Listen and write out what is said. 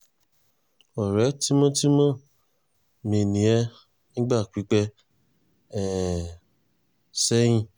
ọ̀rẹ́ tímọ́tímọ́ mi ni ẹ́ nígbà pípẹ́ um sẹ́yìn